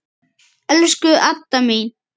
Elsku Adda mín.